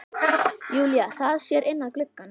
Júlía hraðar sér inn að glugganum.